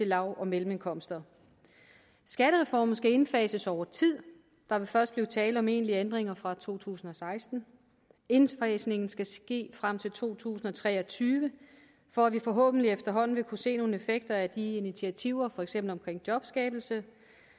lav og mellemindkomster skattereformen skal indfases over tid der vil først blive tale om egentlige ændringer fra to tusind og seksten indfasningen skal ske frem til to tusind og tre og tyve for at vi forhåbentlig efterhånden vil kunne se nogle effekter at de initiativer for eksempel om jobskabelse